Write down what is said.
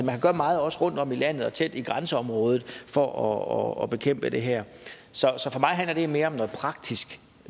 man gør meget også rundtom i landet og tæt i grænseområdet for at bekæmpe det her så så for mig handler det mere om noget praktisk